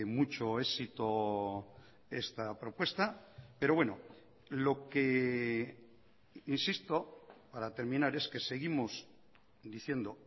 mucho éxito esta propuesta pero bueno lo que insisto para terminar es que seguimos diciendo